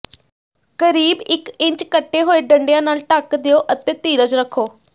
ਕਰੀਬ ਇਕ ਇੰਚ ਕੱਟੇ ਹੋਏ ਡੰਡਿਆਂ ਨਾਲ ਢੱਕ ਦਿਓ ਅਤੇ ਧੀਰਜ ਰੱਖੋ